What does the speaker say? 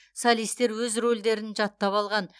солистер өз рөлдерін жаттап алған